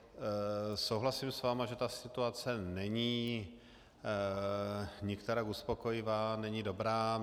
Souhlasím s vámi, že ta situace není nikterak uspokojivá, není dobrá.